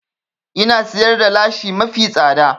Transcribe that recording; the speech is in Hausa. Ina siyar da lashi mafi tsada